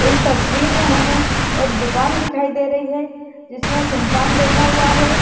इस तस्वीर में हमें एक दुकान दिखाई दे रही है इसमें एक इंसान बैठा हुआ है।